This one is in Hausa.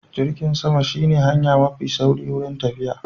Jirgin sama shi ne hanya mafi sauri wurin tafiya